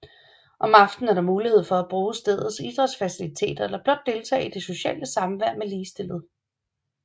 Om aftenen er der mulighed for at bruge stedets idrætsfaciliteter eller blot deltage i det sociale samvær med ligestillede